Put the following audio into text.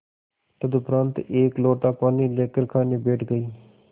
तदुपरांत एक लोटा पानी लेकर खाने बैठ गई